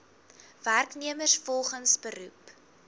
werknemers volgens beroep